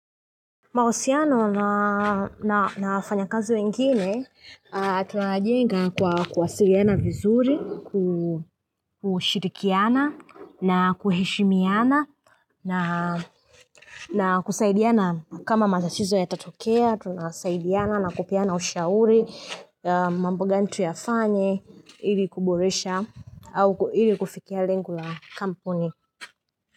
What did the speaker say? Mahusiano na wafanyakazi wengine, tunajenga kwa kuwasiliana vizuri, kushirikiana na kuheshimiana na na kusaidiana kama matatizo yatatokea, tunasaidiana na kupeana ushauri, mambo gani tuyafanye, ili kuboresha, au ili kufikia lengo la kampuni.